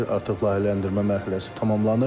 Artıq layihələndirmə mərhələsi tamamlanıb.